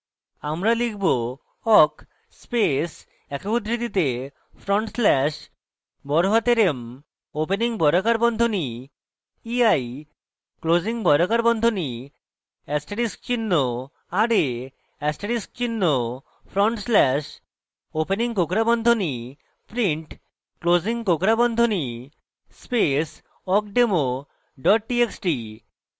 আমরা লিখব: